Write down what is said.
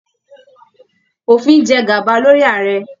Òfin jẹ gaba lórí Ààrẹ.